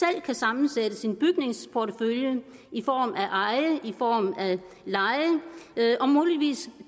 kan sammensætte sin bygningsportefølje i form af eje og i form af leje og muligvis